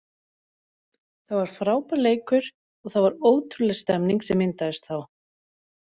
Það var frábær leikur og það var ótrúleg stemning sem myndaðist þá.